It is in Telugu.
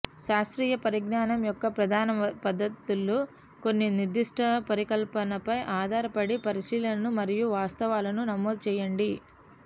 శాస్త్రీయ పరిజ్ఞానం యొక్క ప్రధాన పద్ధతులు కొన్ని నిర్దిష్ట పరికల్పనపై ఆధారపడిన పరిశీలనలు మరియు వాస్తవాలను నమోదు చేయడం